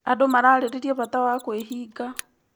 Andũ mararĩrĩria bata wa kwĩhinga.